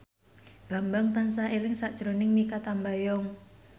Bambang tansah eling sakjroning Mikha Tambayong